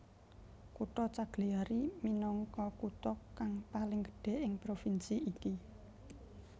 Kutha Cagliari minangka kutha kang paling gedhé ing provinsi ini